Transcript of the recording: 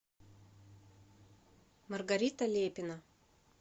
маргарита лепина